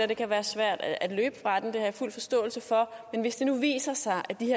det kan være svært at løbe fra den det har jeg fuld forståelse for men hvis det nu viser sig